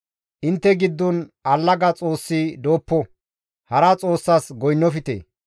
Intte giddon allaga xoossi dooppo; hara xoossas goynnofte.